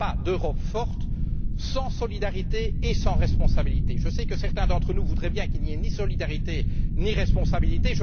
Il n'y aura pas d'Europe forte sans solidarité et sans responsabilité. Je sais que certains d'entre nous voudraient bien qu'il n'y ait ni solidarité, ni responsabilité.